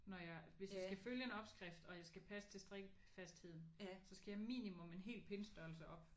Når jeg hvis jeg skal følge en opskrift og jeg skal passe til strikkefastheden så skal jeg minimum en hel pindstørrelse op